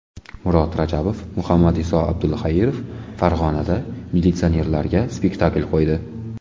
Murod Rajabov va Muhammadiso Abdulxairov Farg‘onada militsionerlarga spektakl qo‘ydi.